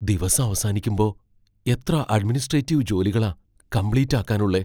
ദിവസം അവസാനിക്കുമ്പോ എത്ര അഡ്മിനിസ്ട്രേറ്റീവ് ജോലികളാ കംപ്ലീറ്റ് ആക്കാൻ ഉള്ളെ.